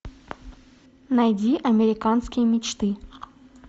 найди американские мечты